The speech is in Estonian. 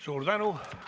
Suur tänu!